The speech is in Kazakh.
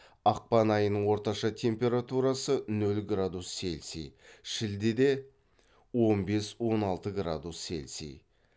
ақпан айының орташа температурасы нөл градус селси шілдеде он бес он алты градус селси